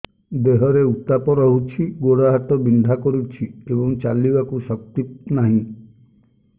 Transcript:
ଦେହରେ ଉତାପ ରହୁଛି ଗୋଡ଼ ହାତ ବିନ୍ଧା କରୁଛି ଏବଂ ଚାଲିବାକୁ ଶକ୍ତି ନାହିଁ